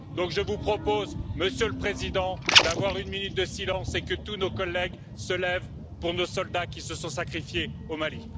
Je vous propose donc, Monsieur le Président, d'observer une minute de silence et que tous nos collègues se lèvent pour nos soldats qui se sont sacrifiés au Mali.